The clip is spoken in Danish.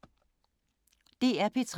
DR P3